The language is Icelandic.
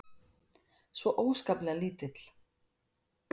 Svo óskaplega lítill.